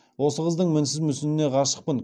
осы қыздың мінсіз мүсініне ғашықпын